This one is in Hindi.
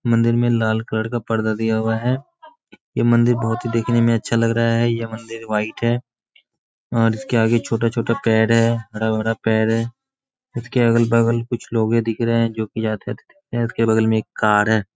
मंदिर मे लाल कलर का पर्दा दिया हुआ है। ये मंदिर बोहोत ही देखने में अच्छा लग रहा है। ये मंदिर वाइट है और इसके आगे छोटा-छोटा पेड़ है। हरा-भरा पेड़ है। उसके अगल-बगल कुछ लोगे दिख रहे हैं जोकि आते-जाते दिख रहे हैं। इसके बगल मे एक कार है।